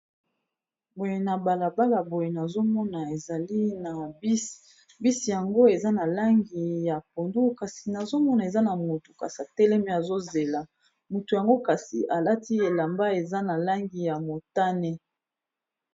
Boye na balabala boye nazomona ezali na bus, bus yango eza na langi ya pondu kasi nazomona eza na mutu kasa teleme azozela motu yango kasi alati elamba eza na langi ya motane.